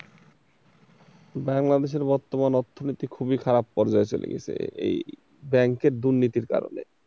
বাংলাদেশের বর্তমান অর্থনীতি খুবই খারাপ পর্যায়ে চলে গেছে, এই ব্যাংকের দুর্নীতির কারণে।